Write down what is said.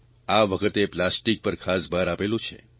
આ વખતે પ્લાસ્ટિક પર ખાસ ભાર આપેલો છે